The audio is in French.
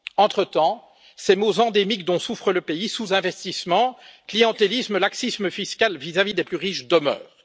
Entretemps, les maux endémiques dont souffre le pays sous investissement, clientélisme et laxisme fiscal vis à vis des plus riches demeurent.